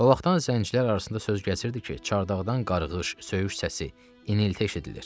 O vaxtdan zəncirlər arasında söz gəzirdi ki, çardaqdan qarıqış, söyüş səsi, inilti eşidilir.